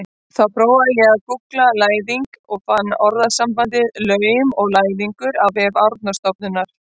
Þá prófaði ég að gúggla læðing og fann orðasambandið laum og læðingur á vef Árnastofnunar.